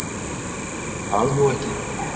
Ég veit það nú ekki.